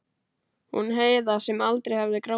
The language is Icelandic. Hún Heiða sem aldrei hafði grátið.